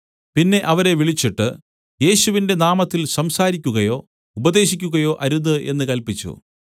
പിന്നെ അവരെ വിളിച്ചിട്ട് യേശുവിന്റെ നാമത്തിൽ സംസാരിക്കുകയോ ഉപദേശിക്കുകയോ അരുത് എന്ന് കല്പിച്ചു